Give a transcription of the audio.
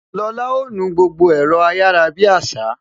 Lola ó nu gbogbo ẹ̀rọ ayarabiasa